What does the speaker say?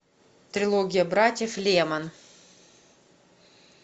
трилогия братьев лемон